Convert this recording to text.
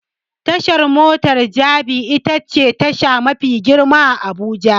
Tashar mota ta Jabi itace tasha mafi girma a Abuja.